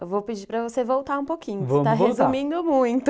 Eu vou pedir para você voltar um pouquinho, vamos voltar, você está resumindo muito.